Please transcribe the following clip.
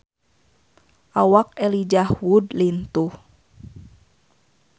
Awak Elijah Wood lintuh